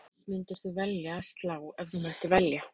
Hvert þeirra myndir þú velja að slá ef þú mættir velja?